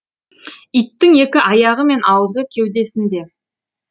иттің екі аяғы мен аузы кеудесінде